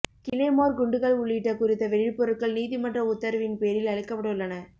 claymore குண்டுகள் உள்ளிட்ட குறித்த வெடிப்பொருட்கள் நீதிமன்ற உத்தரவின் பேரில் அழிக்கப்படவுள்ளன